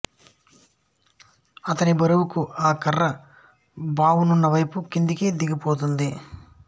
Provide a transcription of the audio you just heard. అతని బరువుకు ఆ కర్ర బానవున్న వైపు కిందికి దిగుతుంది